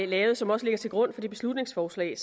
lavet og som også ligger til grund for det beslutningsforslag